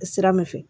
Sira min fɛ